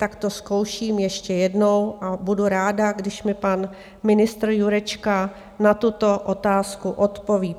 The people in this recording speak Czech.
Tak to zkouším ještě jednou a budu ráda, když mi pan ministr Jurečka na tuto otázku odpoví.